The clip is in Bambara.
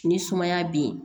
Ni sumaya be yen